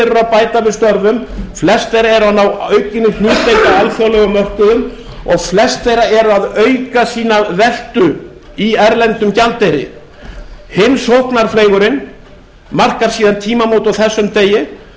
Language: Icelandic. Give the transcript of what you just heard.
eru að bæta við störfum flest þeirra eru að ná aukinni hlutdeild á alþjóðlegum mörkuðum og flest þeirra eru að auka sína veltu í erlendum gjaldeyri hinn sóknarfleygurinn markar síðan tímamót á þessum degi